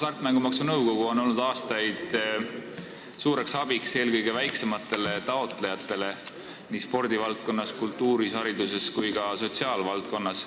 Hasartmängumaksu Nõukogu on olnud aastaid suureks abiks eelkõige väiksematele taotlejatele nii spordi-, kultuuri-, haridus- kui ka sotsiaalvaldkonnas.